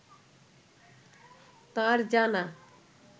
তাঁর জানা